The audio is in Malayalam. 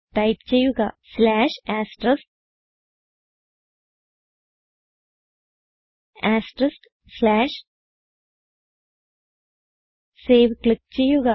ടൈപ്പ് ചെയ്യുക സേവ് ക്ലിക്ക് ചെയ്യുക